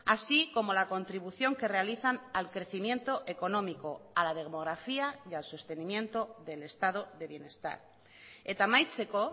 así como la contribución que realizan al crecimiento económico a la demografía y al sostenimiento del estado de bienestar eta amaitzeko